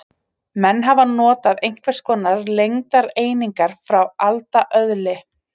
Menn hafa notað einhvers konar lengdareiningar frá alda öðli.